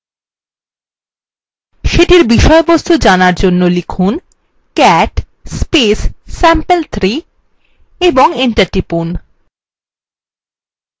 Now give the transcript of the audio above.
সেটির বিষয়বস্তু জানার জন্য লিখুন cat sample3 এবং enter টিপুন